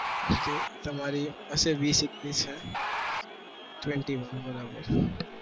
means કે તમારી હશે વીસ એકવીસ છે twenty-one બરાબર